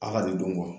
A ka de don